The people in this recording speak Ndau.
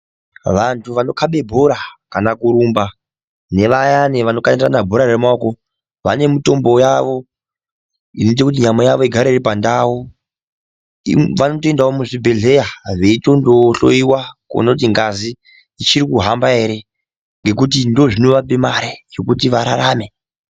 Vantu vanokabe bhora kana kurumba nevayani nevanokandirana bhora remaoko, vane mitombo yavo inoita kuti nyama yavo igare iri pandau. Vanotoendawo muzvibhedhleya veitondohloyiwa kuona kuti ngazi ichirikuhamba here ngekuti ndozvinovape mare yokuti vararame.